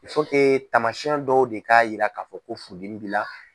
tamasiyɛn dɔw de k'a yira k'a fɔ ko furudimi b'i la.